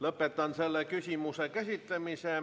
Lõpetan selle küsimuse käsitlemise.